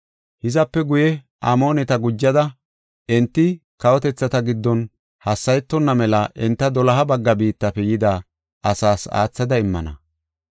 Hizape guye Amooneta gujada, enti kawotethata giddon hassayetonna mela enta doloha bagga biittafe yida asaas aathada immana.